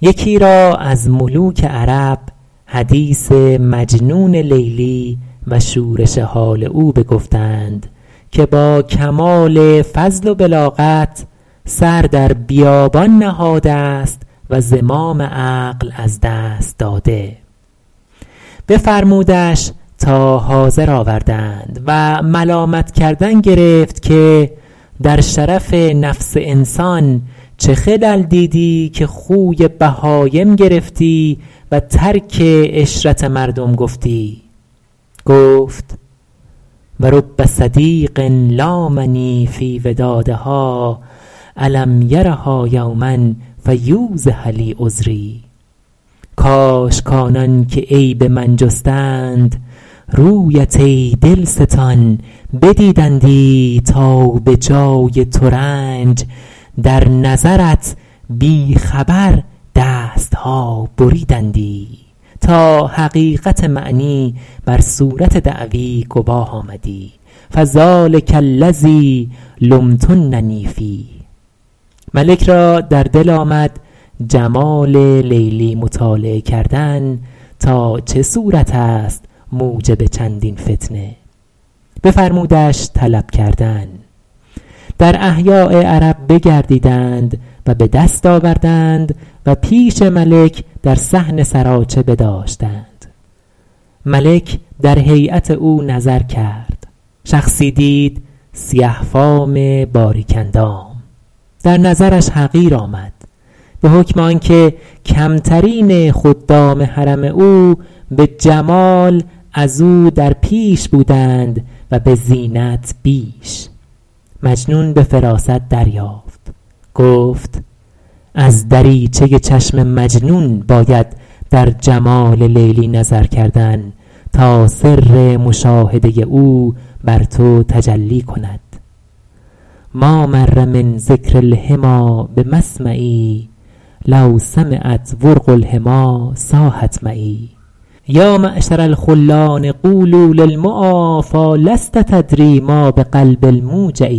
یکی را از ملوک عرب حدیث مجنون لیلی و شورش حال او بگفتند که با کمال فضل و بلاغت سر در بیابان نهاده است و زمام عقل از دست داده بفرمودش تا حاضر آوردند و ملامت کردن گرفت که در شرف نفس انسان چه خلل دیدی که خوی بهایم گرفتی و ترک عشرت مردم گفتی گفت و رب صدیق لامنی فی ودادها الم یرها یوما فیوضح لی عذری کاش کآنان که عیب من جستند رویت ای دلستان بدیدندی تا به جای ترنج در نظرت بی خبر دست ها بریدندی تا حقیقت معنی بر صورت دعوی گواه آمدی فذٰلک الذی لمتننی فیه ملک را در دل آمد جمال لیلی مطالعه کردن تا چه صورت است موجب چندین فتنه بفرمودش طلب کردن در احیاء عرب بگردیدند و به دست آوردند و پیش ملک در صحن سراچه بداشتند ملک در هیأت او نظر کرد شخصی دید سیه فام باریک اندام در نظرش حقیر آمد به حکم آن که کمترین خدام حرم او به جمال از او در پیش بودند و به زینت بیش مجنون به فراست دریافت گفت از دریچه چشم مجنون باید در جمال لیلی نظر کردن تا سر مشاهده او بر تو تجلی کند ما مر من ذکر الحمیٰ بمسمعی لو سمعت ورق الحمی صاحت معی یا معشر الخلان قولوا للمعا فیٰ لست تدری ما بقلب الموجع